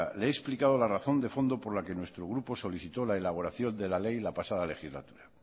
le he explicado la razón de fondo por la que nuestro grupo solicitó la elaboración de la ley en la pasada legislatura